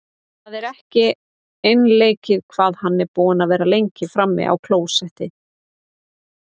Það er ekki einleikið hvað hann er búinn að vera lengi frammi á klósetti!